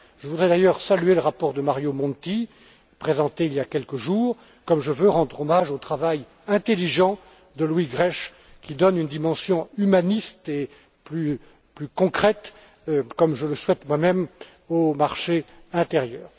Je voudrais d'ailleurs saluer le rapport de Mario Monti présenté il y a quelques jours, comme je veux rendre hommage au travail intelligent de Louis Grech, qui donne une dimension humaniste et plus concrète, comme je le souhaite moi même, au marché intérieur.